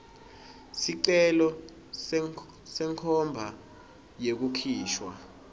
sicelo senkhomba yekukhishwa